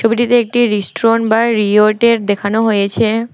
ছবিটিতে একটি রিস্টোন বা রিওটের দেখানো হয়েছে।